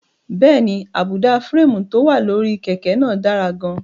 Bẹ́ẹ̀ni, àbùdá férémù tó wà lórí kẹ̀kẹ́ náà dára gan-an.